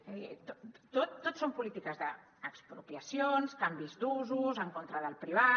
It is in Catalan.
és a dir tot són polítiques d’expropiacions canvis d’usos en contra del privat